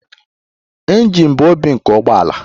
Injin bụ obi nke ụgbọ ala.